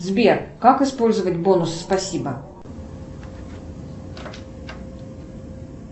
сбер как использовать бонус спасибо